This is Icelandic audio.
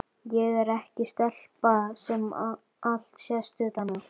Ég er ekki stelpa sem allt sést utan á.